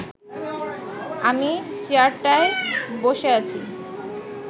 আমিই চেয়ারটায় বসে আছি